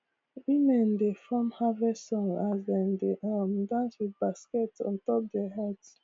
women dey form harvest songs as dem dey um dance with baskets ontop their heads